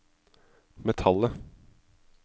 metallet